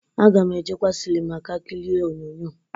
Aga m ejekwa sịlịma ka kirie onyoonyo.